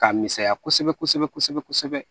K'a misɛnya kosɛbɛ kosɛbɛ kosɛbɛ